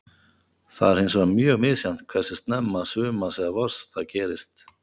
Það er hins vegar mjög misjafnt hversu snemma sumars eða vors það gerist.